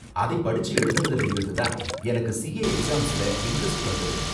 அதை படிச்சு எழுதுனதுல இருந்து தான் எனக்கு சிஏ எக்ஸாம்ல இண்டரெஸ்ட் வந்தது.